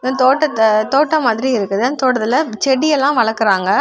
தோட்டத்த தோட்ட மாதிரி இருக்குது அந்த தோட்டத்துல செடி எல்லாம் வளக்கறாங்க.